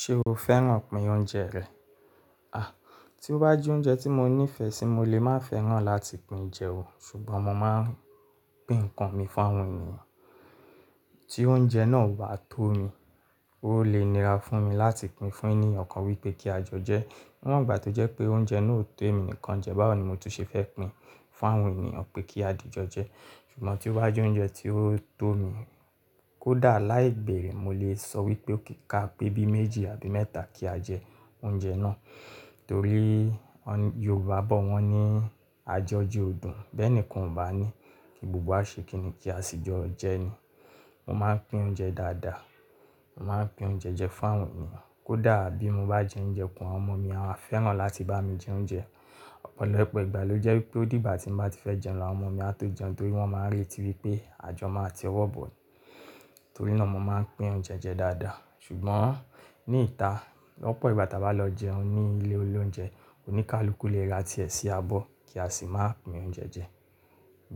Ṣé o fẹ́ràn pín oúnjẹ rẹ̀? Àí tí ó bá jẹ́ oúnjẹ tí mo nífẹ̀ẹ́ sí mo lè má fẹ́ràn láti pín jẹ o, ṣùgbọ́n mo máa ń pín nǹkan mi fún àwọn ènìyàn. Tí oúnjẹ náà o bá tó mi, ó lè nira fún mi láti pín fún ènìyàn kan wípé kí a jẹun jẹ. Níwọ̀n ìgbà tí ó jẹ́ pé oúnjẹ náà ó tó èmi nìkan jẹ, báwo ni mò tún ṣe fẹ́ pín fún àwọn ènìyàn pé kí á di jo jẹ? Ṣùgbọ́n tí ó bá jẹ́ oúnjẹ tí ó tó mi kó dà láì béere, mo lè sọ wípé ó kí ka pé bí méjì àbí mẹ́ta kí á jẹ oúnjẹ náà torí Yorùbá bọ wọ́n ní àjọjẹ ọ dùn. Bẹ́ẹ̀ nìkan ò bá ní kí gbogbo wa ṣe kì í ní kí á sì jo jẹ ni. Mo máa ń pín oúnjẹ dáadáa, mo máa ń pín oúnjẹ jẹ fún àwọn ènìyàn. Kó dà bí mo bá jẹ oúnjẹ kú, àwọn ọmọ mi a fẹ́ràn láti bá mi jẹ oúnjẹ. Ọ̀pọ̀lọpọ̀ ìgbà ló jẹ́ wípé ó dìgbà tí mo bá ti fẹ́ jẹun lọ, àwọn ọmọ mi a tó jẹun torí wọ́n máa ń retí wípé àjọ máa ti wọ́ bọ̀. Torí náà mo máa ń pín oúnjẹ jẹ dáadáa. Ṣùgbọ́n ní ìta lọ́pọ̀ ìgbà tí a bá lọ jẹun ní ilé olóúnjẹ, oníkálukú le ra tí ẹ sí abọ́ kí a sì máa pín oúnjẹ jẹ.